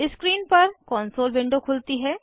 screen पर console window खुलती है